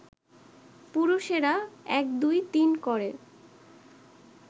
পুরুষেরা এক দুই তিন করে